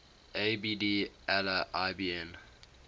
abd allah ibn